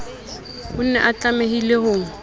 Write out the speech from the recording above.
o ne a tlamehile ho